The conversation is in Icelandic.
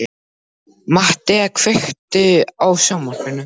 Mattea, kveiktu á sjónvarpinu.